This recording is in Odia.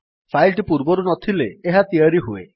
ଫାଇଲ୍ ଟି ପୂର୍ବରୁ ନଥିଲେ ଏହା ତିଆରି ହୁଏ